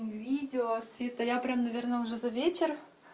видео света я прям наверное уже за вечер